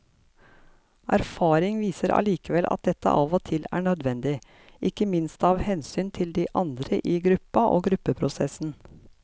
Erfaring viser allikevel at dette av og til er nødvendig, ikke minst av hensyn til de andre i gruppa og gruppeprosessen.